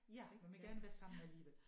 Ja man vil gerne være sammen alligevel